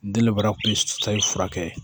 Denba kun bɛ sayi fura kɛ